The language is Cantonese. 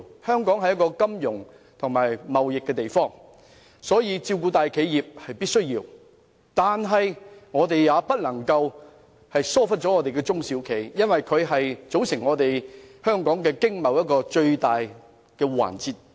香港是一個以金融和貿易為主的地方，照顧大企業在所難免，但亦不能忽略中小企，因為香港的經貿以中小企為主。